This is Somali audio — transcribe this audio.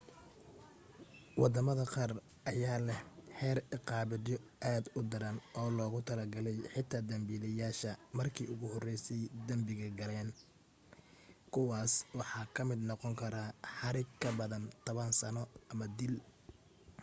waddamada qaar ayaa leh xeer ciqaabeedyo aad u daran oo loogu talagalay xitaa dambiilayaasha markii ugu horeysay danbiga galay kuwaas waxa ka mid noqon karaa xarig ka badan 10 sannadood ama dil